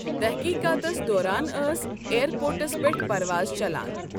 تٔحقیٖقاتَس دوران ٲس ایئرپورٹَس پٮ۪ٹھ پرواز چلان۔